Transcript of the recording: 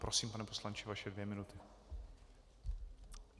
Prosím, pane poslanče, vaše dvě minuty.